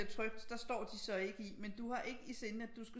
Bliver trygt der står de så ikke i men du har ikke i sinde at du skal